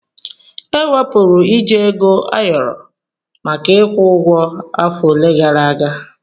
Ewepụrụ iji Ego ayoro maka ịkwụ ụgwọ afọ ole gara aga.